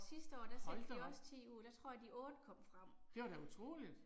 Hold da op. Det var da utroligt